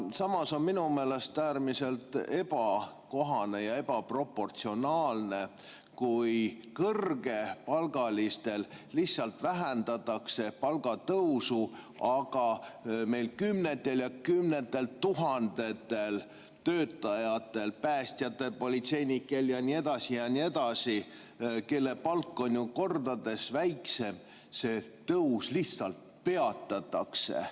Samas on minu meelest äärmiselt ebakohane ja ebaproportsionaalne, kui kõrgepalgalistel lihtsalt vähendatakse palgatõusu, aga kümnetel tuhandetel töötajatel – päästjatel, politseinikel ja nii edasi ja nii edasi –, kelle palk on kordades väiksem, see tõus lihtsalt peatatakse.